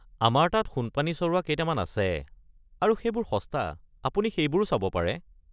আমাৰ তাত সোণ-পানী চৰোৱা কেইটামান আছে আৰু সেইবোৰ সস্তা, আপুনি সেইবোৰো চাব পাৰে।